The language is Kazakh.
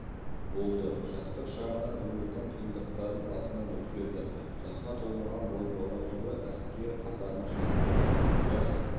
болды жастық шағынан өмірдің қиындықтарын басынан өткерді жасқа толмаған бозбала жылы әскер қатарына шақырылды жас